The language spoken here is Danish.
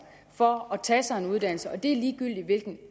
for at tage sig en uddannelse og det er ligegyldigt hvilken